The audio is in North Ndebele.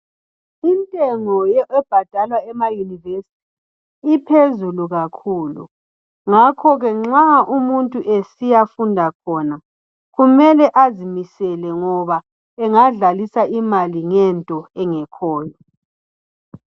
Intengo ebhadalwa ema yunivesithi iphezulu kakhulu, ngakhoke nxa umuntu esiyafunda khona kumele azimisele ngoba engadlalisa imali ngento engekhoyo.